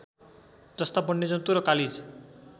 जस्ता वन्यजन्तु र कालिज